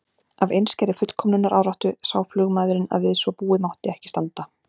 Af einskærri fullkomnunaráráttu sá flugmaðurinn að við svo búið mátti ekki standa.